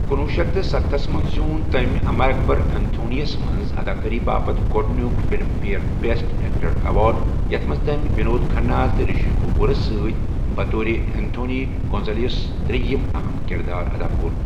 کُنٛوُہ شیٚتھ تہٕ ستستتھس منٛز زیوٗن تٔمۍ اَمر اَکبر ایٚنتھونی یس منٛز اَداکٲری باپتھ گۄڈنیُک Filmfare best actor award, یتھ منٛز تٔمۍ وِنود کھنہ تہٕ رِشی کٔپوٗرس سۭتۍ بطور ایٚنتھونی گونسالویس ترٛیٚیِم اَہم کِرار ادا کوٚر۔